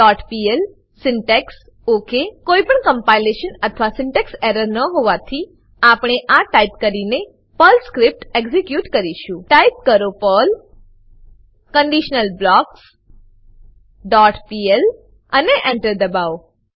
conditionalblocksપીએલ syntax okay કોઈપણ compilation અથવા syntax error ન હોવાથી આપણે આ ટાઈપ કરીને પર્લ સ્ક્રીપ્ટ એક્ઝીક્યુટ કરીશું ટાઈપ કરો પર્લ કન્ડિશનલબ્લોક્સ ડોટ પીએલ અને Enter દબાવો